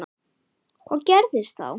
Hvað gerðist þá?